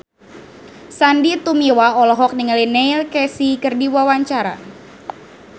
Sandy Tumiwa olohok ningali Neil Casey keur diwawancara